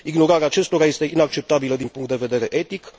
Ignorarea acestora este inacceptabilă din punct de vedere etic.